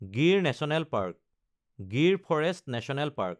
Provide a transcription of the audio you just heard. Gir national park (Gir forest national park)